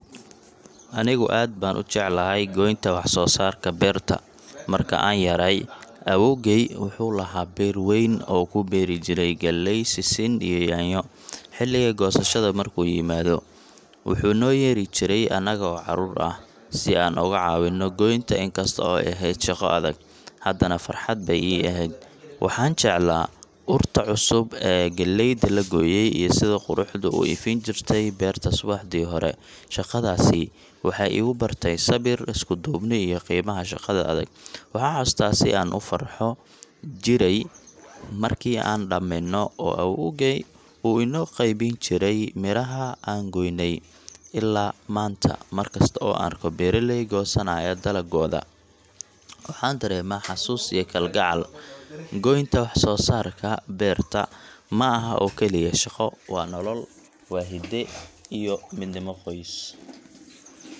Anigu aad baan u jeclahay goynta wax-soo-saarka beerta. Marka aan yaraay, awoowgay wuxuu lahaa beer weyn oo uu ku beeri jiray galley, sisin iyo yaanyo. Xilliga goosashada markuu yimaado, wuxuu noo yeeri jiray annaga oo carruur ah, si aan uga caawinno goynta. Inkasta oo ay ahayd shaqo adag, haddana farxad bay ii ahayd. Waxaan jeclaa urta cusub ee galleyda la gooyay iyo sida qorraxdu u ifin jirtay beerta subaxdii hore. Shaqadaasi waxay igu bartay sabir, isku-duubni iyo qiimaha shaqada adag. Waxaan xasuustaa si aan u farxi jiray markii aan dhammayno oo awoowgay uu inoo qaybin jiray miraha aan goonnay. Maanta, mar kasta oo aan arko beeraley goosanaya dalaggooda, waxaan dareemaa xasuus iyo kalgacal. Goynta wax-soo-saarka beerta ma aha oo kaliya shaqo; waa nolol, waa hidde iyo midnimo qoys.